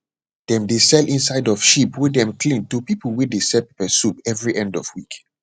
dem dey sell inside of sheep wey dem clean to pipu wey dey sell peppersoup every end of week